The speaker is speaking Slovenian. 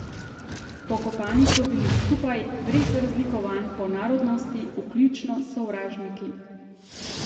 Pokopani so bili skupaj, brez razlikovanj po narodnosti, vključno s sovražniki.